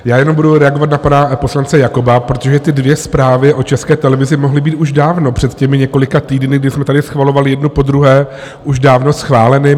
Já jenom budu reagovat na pana poslance Jakoba, protože ty dvě zprávy o České televizi mohly být už dávno před těmi několika týdny, kdy jsme tady schvalovali jednu po druhé, už dávno schváleny.